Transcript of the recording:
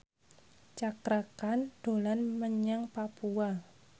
Cakra Khan dolan menyang Papua